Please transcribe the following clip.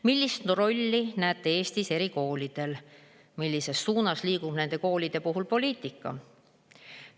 Millist rolli näete Eestis erikoolidel, millises suunas liigub nende koolide puhul poliitika?